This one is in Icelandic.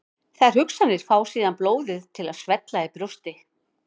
Þær hugsanir fá síðan blóðið til að svella í brjósti.